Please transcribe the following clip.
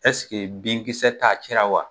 binkisɛ t'a cɛra wa?